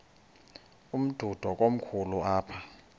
umdudo komkhulu apha